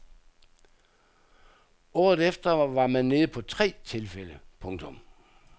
Året efter var man nede på tre tilfælde. punktum